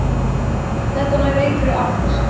Þetta nær engri átt.